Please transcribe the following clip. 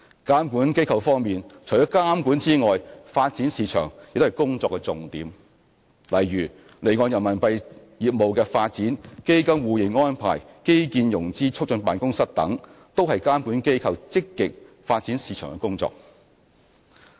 監管機構方面，除監管外，發展市場亦是工作重點，例如離岸人民幣業務的發展、基金互認安排、基建融資促進辦公室等，都是監管機構積極發展市場的工作。